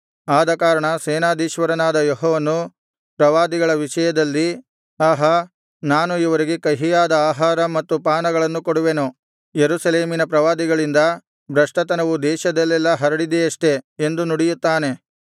ಆದಕಾರಣ ಸೇನಾಧೀಶ್ವರನಾದ ಯೆಹೋವನು ಪ್ರವಾದಿಗಳ ವಿಷಯದಲ್ಲಿ ಆಹಾ ನಾನು ಇವರಿಗೆ ಕಹಿಯಾದ ಆಹಾರ ಮತ್ತು ಪಾನಗಳನ್ನು ಕೊಡುವೆನು ಯೆರೂಸಲೇಮಿನ ಪ್ರವಾದಿಗಳಿಂದ ಭ್ರಷ್ಟತನವು ದೇಶದಲ್ಲೆಲ್ಲಾ ಹರಡಿದೆಯಷ್ಟೆ ಎಂದು ನುಡಿಯುತ್ತಾನೆ